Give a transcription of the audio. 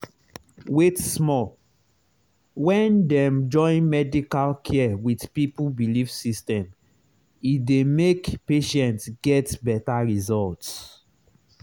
wait small — when dem join medical care with people belief system e dey make patient get better result.